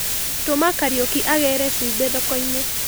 Tũma Kariuki agĩre cumbĩ thokoini.